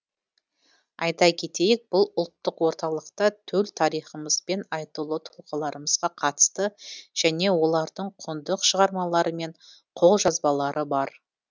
айта кетейік бұл ұлттық орталықта төл тарихымыз бен айтулы тұлғаларымызға қатысты және олардың құнды шығармалары мен қолжазбалары бар